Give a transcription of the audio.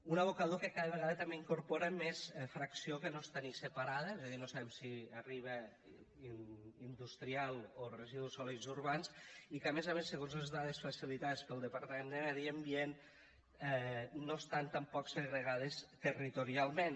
un abocador que cada vegada també incorpora més fracció que no està ni separada és a dir no sabem si arriba industrial o residus sòlids urbans i que a més a més segons les dades facilitades pel departament de medi ambient no estan tampoc segregades territorialment